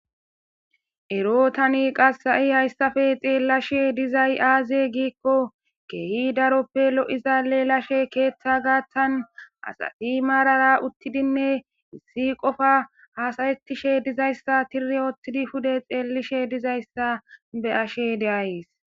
ero tani qasi ha7i hayssafe xeellashe dizay aaze giikko keehi daroppe lo7izalelashe keeththa gaattan asati maarara uttidinne issi qofa hasayetishe dizayssa tiri oottidi hude xeellishe dizayssa be ashe deayys